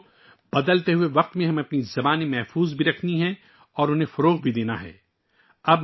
دوستو، بدلتے وقت میں ہمیں اپنی زبانوں کو بچانا ہے اور ان کو فروغ دینا بھی ہے